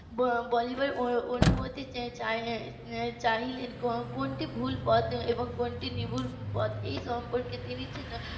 অনুমতি চাই~ চাইলেন কোনটি ভুল পথ এবং কোনটি নির্ভুল পথ এই সম্পর্কে তিনি যেন